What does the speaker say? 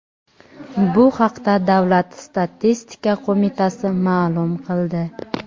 Bu haqda davlat statistika qo‘mitasi ma’lum qildi.